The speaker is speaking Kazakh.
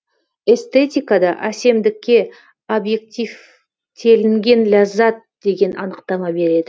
эстетикада әсемдікке объективтелінген ляззат деген анықтама береді